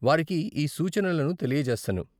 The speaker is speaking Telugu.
వారికి ఈ సూచనలను తెలియజేస్తాను.